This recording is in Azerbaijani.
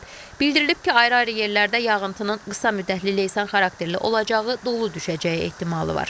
Bildirilib ki, ayrı-ayrı yerlərdə yağıntının qısa müddətli leysan xarakterli olacağı, dolu düşəcəyi ehtimalı var.